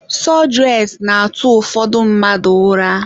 Sọdụres na-atụ ụfọdụ mmadụ ụra.